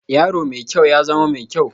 Yaro mai kyau, ya zama mai kyau